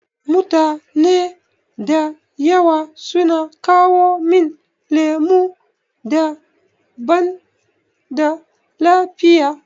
Mutane da yawa sun kawo min lemu da banda lafiya.